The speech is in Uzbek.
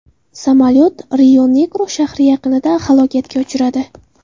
Samolyot Rionegro shahri yaqinida halokatga uchradi.